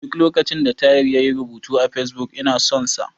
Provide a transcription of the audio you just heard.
Duk lokacin da Tahir yayi rubutu a Fesbuk, ina son sa.